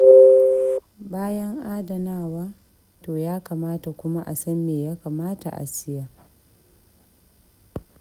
Bayan adanawa, to ya kamata kuma a san me ya kamata a siya.